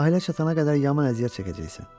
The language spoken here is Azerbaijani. Sahilə çatana qədər yaman əziyyət çəkəcəksən.